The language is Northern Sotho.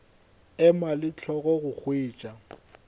ema le hlogo go hwetša